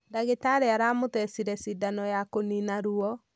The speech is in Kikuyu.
Ndagitarĩ aramũthecire cidano ya kũnina ruwo.